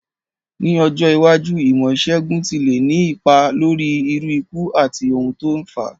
Ní ọjọ́ iwájú, ìmó ìsègùn ti le ni ipa lórí irú ikú àti oun to n fáa